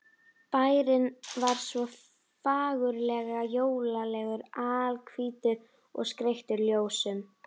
Bærinn var svo fagurlega jólalegur, alhvítur og skreyttur ljósum.